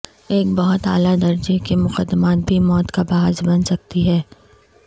ایک بہت اعلی درجے کے مقدمات بھی موت کا باعث بن سکتی ہے